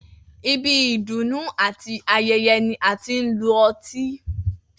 Ibi ìdùnnú àti aye̩ye̩ ni a ti ń lo o̩tí